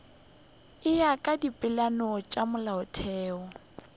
ya ka dipeelano tša molaotheo